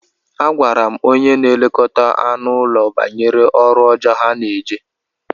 Agwara m onye na-elekọta anụ ụlọ banyere ọrụ ọjọọ ha na-eje.